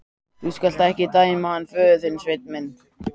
Þú skalt ekki dæma hann föður þinn, Sveinn minn.